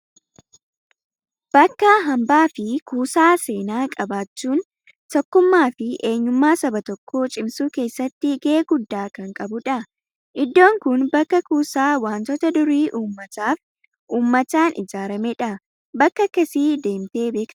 Bakka hambaa fi kuusaa seenaa qabaachuun tokkummaa fi eenyumma saba tokkoo cimsuu keessatti gahee guddaa kan qabudha. Iddoon kun bakka kuusaa wantoota durii uummataaf, uummataan ijaaramedha. Bakka akkasii deemtee beektaa?